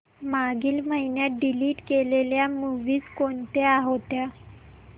मागील महिन्यात डिलीट केलेल्या मूवीझ कोणत्या होत्या